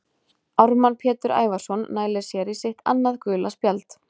Ármann Pétur Ævarsson nælir sér í sitt annað gula spjald.